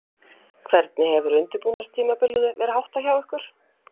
Hvernig hefur undirbúningstímabilinu verið háttað hjá ykkur?